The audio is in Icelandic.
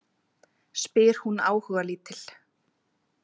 Spyr hún áhugalítil.